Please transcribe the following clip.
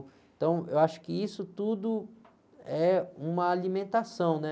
Então eu acho que isso tudo é uma alimentação, né?